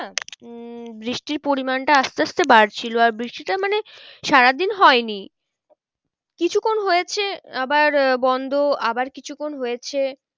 উম বৃষ্টির পরিমানটা আস্তে আস্তে বারছিলো আর বৃষ্টিটা মানে সারাদিন হয়নি কিছুক্ষন হয়েছে আবার আহ বন্ধ আবার কিছুক্ষন হয়েছে।